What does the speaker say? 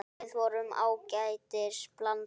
Við vorum ágætis blanda.